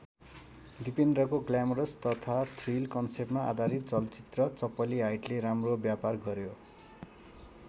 दिपेन्द्रको glamorous तथा thrill कन्सेप्टमा आधारित चलचित्र चपली हाइटले राम्रो व्यापार गर्‍यो।